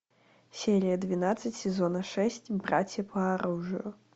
серия двенадцать сезона шесть братья по оружию